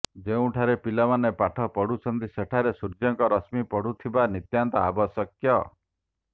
ଯେଉଁଠାରେ ପିଲାମାନେ ପାଠ ପଢୁଛନ୍ତି ସେଠାରେ ସୂର୍ଯ୍ୟଙ୍କ ରଶ୍ମୀ ପଡ଼ୁଥିବା ନିତ୍ୟାନ୍ତ ଆବଶ୍ୟକ